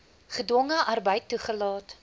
gedwonge arbeid toelaat